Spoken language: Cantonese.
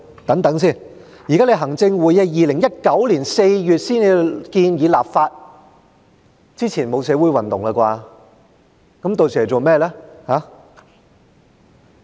等等，行政會議於2019年4月才建議立法，在那之前沒有社會運動吧？